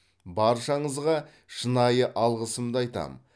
баршаңызға шынайы алғысымды айтам